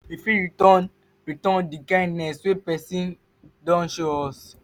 we fit return return di kindness wey person don show us